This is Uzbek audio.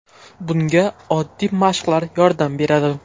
Bunga oddiy mashqlar yordam beradi.